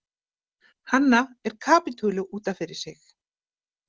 Hanna er kapítuli út af fyrir sig.